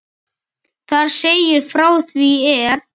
Þar segir frá því er